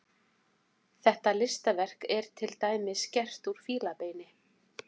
Þetta listaverk er til dæmis gert úr fílabeini.